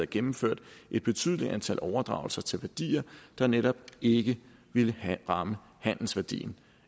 gennemført et betydeligt antal overdragelser til værdier der netop ikke ville ramme handelsværdien